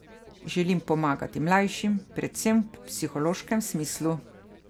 Želim pomagati mlajšim, predvsem v psihološkem smislu.